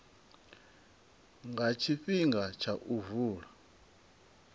nga tshifhinga tsha u vula